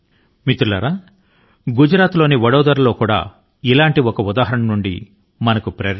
మిత్రులారా గుజరాత్ లోని వడోదరా కూడా ఒక స్ఫూర్తిదాయకమైనటువంటి ఉదాహరణ